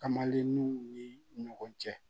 Kamalennun ni ɲɔgɔn cɛ